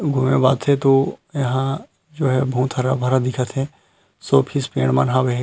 घूमे ब आथे तो यहाँ जो हे बहुत हरा-भरा दिखत हे शो पीस पेड़ मन हवे हे।